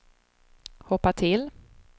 hoppa till